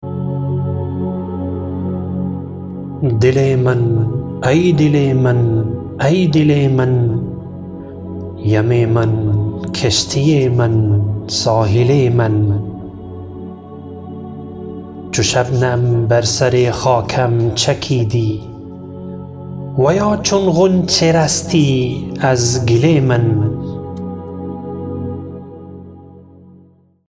دل من ای دل من ایدل من یم من کشتی من ساحل من چو شبنم بر سر خاکم چکیدی و یا چون غنچه رستی از گل من